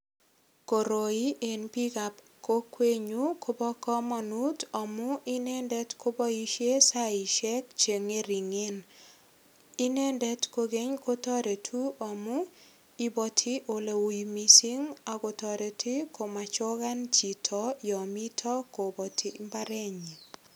Koroi en biikab kokernyun kobo kamanut amu inendet kobo saisiek che ngeringen. Inendet kogeny kotoretu amu ibwoti eleui mising ak kotoreti komachogan chito yomito kobati imbarenyin.